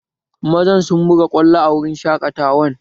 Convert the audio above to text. Mazan sun buga kwallo a wurin shaƙatawan